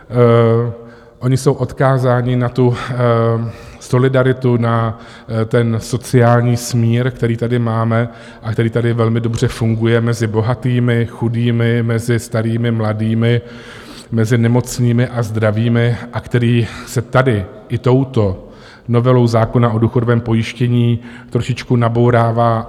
Oni jsou odkázáni na tu solidaritu, na ten sociální smír, který tady máme a který tady velmi dobře funguje mezi bohatými, chudými, mezi starými, mladými, mezi nemocnými a zdravými a který se tady i touto novelou zákona o důchodovém pojištění trošičku nabourává.